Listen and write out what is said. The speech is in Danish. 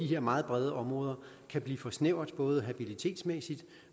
her meget brede områder kan blive for snævert både habilitetsmæssigt